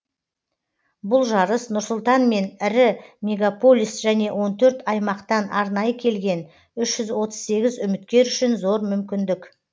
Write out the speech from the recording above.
бұлжарыс нұрсұлтан мен ірі мегаполис және он төрт аймақтан арнайы келген үш жүз отыз сегіз үміткер үшін зор мүмкіндік